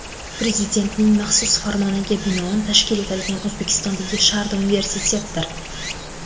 Prezidentning maxsus farmoniga binoan tashkil etilgan O‘zbekistondagi Sharda universitetdir.